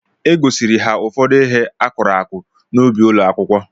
E gosiri ha ụfọdụ ihe akụrụ akụ n'ubi ụlọakwụkwọ